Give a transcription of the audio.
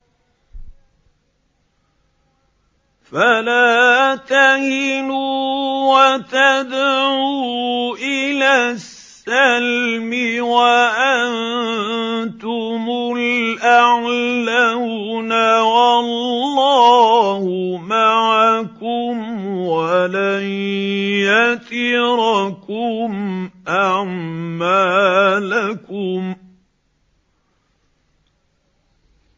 فَلَا تَهِنُوا وَتَدْعُوا إِلَى السَّلْمِ وَأَنتُمُ الْأَعْلَوْنَ وَاللَّهُ مَعَكُمْ وَلَن يَتِرَكُمْ أَعْمَالَكُمْ